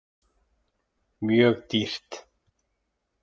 Mjög dýrt.